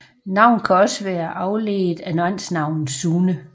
Navnet kan også være afledt af mandsnavn Sune